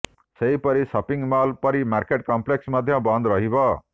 ସେହିପରି shopping mall ପରି market complex ମଧ୍ୟ ବନ୍ଦ ରହିବ